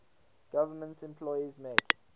government employees make